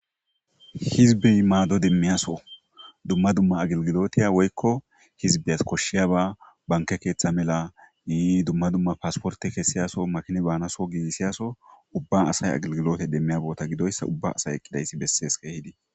Hizbey maado demmiyaso dumma dumma agilgilotiya woykko hizbeyas koshshiya ba banke keeththa mela yii dumma dumma paasporte kessiyaso makini baanaso giinsiyaso ubba asay agilgilote demmiya boota gidoyssa ubba asay eqqidayssi bessees keehidi.